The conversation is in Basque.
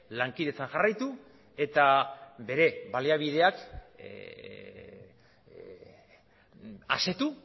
lankidetzan jarraitu eta bere baliabideak asetu